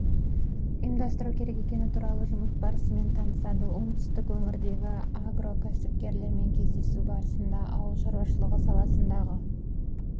ұйымдастыру керек екені туралы жұмыс барысымен танысады оңтүстік өңірдегі агрокәсіпкерлермен кездесу барысында ауыл шаруашылығы саласындағы